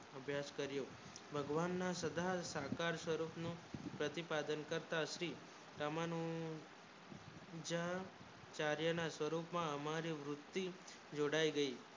અભ્યાસ કર્યો ભગવાન ના સદા સાકાર સ્વરૂપ પ્રતિ પાદન કરતા શ્રી રામનું જા કાર્ય માં સ્વારૂપ માં હમારી વૃત્તિ જોડાયી ગયી